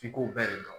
F'i ko bɛɛ de dɔn